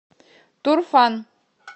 турфан